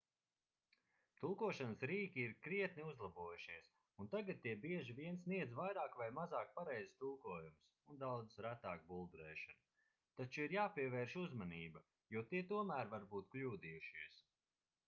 tulkošanas rīki ir krietni uzlabojušies un tagad tie bieži vien sniedz vairāk vai mazāk pareizus tulkojumus un daudz retāk buldurēšanu taču ir jāpievērš uzmanība jo tie tomēr var būt kļūdījušies